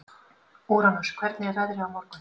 Úranus, hvernig er veðrið á morgun?